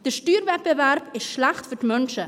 Der Steuerwettbewerb ist schlecht für die Menschen.